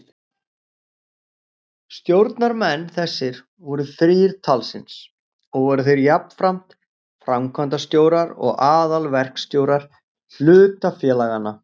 Stjórnarmenn þessir voru þrír talsins og voru þeir jafnframt framkvæmdastjórar og aðalverkstjórar hlutafélaganna.